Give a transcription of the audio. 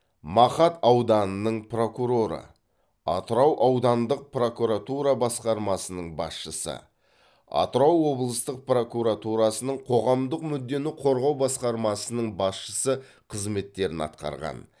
мақат ауданының прокуроры атырау аудандық прокуратура басқармасының басшысы атырау облыстық прокуратурасының қоғамдық мүддені қорғау басқармасының басшысы қызметтерін атқарған